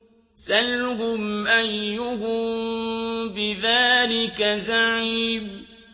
سَلْهُمْ أَيُّهُم بِذَٰلِكَ زَعِيمٌ